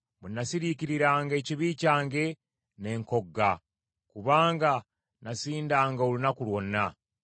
Bwe nasirikiranga ekibi kyange, ne nkogga, kubanga nasindanga olunaku lwonna.